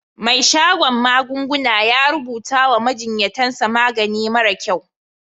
Mai shadon magunguna ya rubuta wa majinyatan sa magani mara kyau.